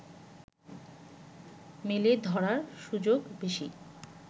মেলে ধরার সুযোগ বেশি